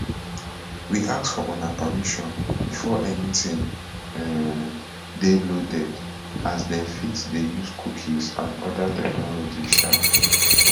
we ask for una permission before anytin um dey loaded as dem fit dey use cookies and oda technologies um